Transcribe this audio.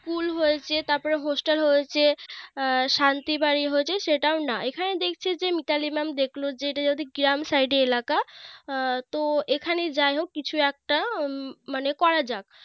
School হয়েছে তারপরে Hostel হয়েছে শান্তি বাড়ি হয়েছে সেটাও না এখানে দেখছে যে Mitali Mam দেখলো যে এটা যদি গ্রাম Side এলাকা এখানে যাইহোক কিছু একটা মানে করা যাক